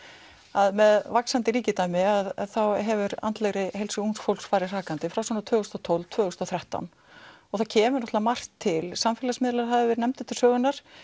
að með vaxandi ríkidæmi hefur andlegri heilsu ungs fólks farið hrakandi frá svona tvö þúsund og tólf til tvö þúsund og þrettán og það kemur náttúrulega margt til samfélagsmiðlar hafa verið nefndir til sögunnar